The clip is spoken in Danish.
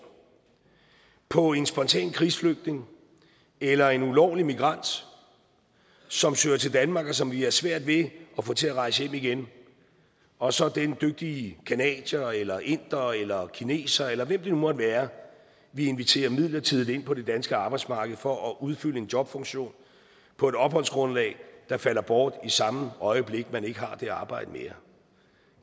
på en spontan krigsflygtning eller en ulovlig migrant som søger til danmark og som vi har svært ved at få til at rejse hjem igen og så den dygtige canadier eller inder eller kineser eller hvem det nu måtte være vi inviterer midlertidigt ind på det danske arbejdsmarked for at udfylde en jobfunktion på et opholdsgrundlag der falder bort i samme øjeblik man ikke har det arbejde mere